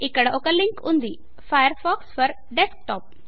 ఇక్కడ ఒక లింక్ ఉంది Firefox ఫోర్ డెస్క్టాప్